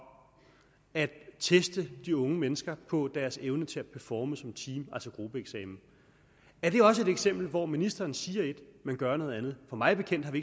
at teste de unge mennesker på deres evne til at performe som team altså gruppeeksamen er det også et eksempel hvor ministeren siger et men gør noget andet for mig bekendt har vi